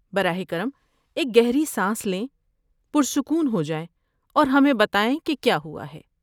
براہ کرم ایک گہری سانس لیں، پرسکون ہو جائیں اور ہمیں بتائیں کہ کیا ہوا ہے۔